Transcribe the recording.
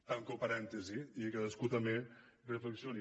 tanco parèntesi i que cadascú també reflexioni